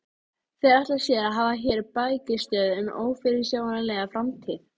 Þeir ætla sér að hafa hér bækistöð um ófyrirsjáanlega framtíð!